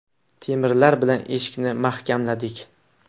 Temirlar bilan eshikni mahkamladik.